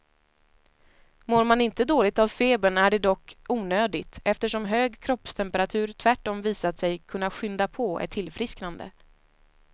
Mår man inte dåligt av febern är det dock onödigt, eftersom hög kroppstemperatur tvärtom visat sig kunna skynda på ett tillfrisknande.